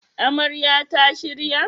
Amarya ta shirya??